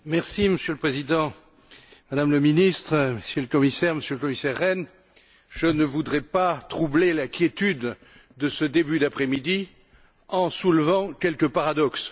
Monsieur le Président, Madame la ministre, Monsieur le commissaire, Monsieur le commissaire Rehn, je ne voudrais pas troubler la quiétude de ce début d'après midi en soulevant quelques paradoxes.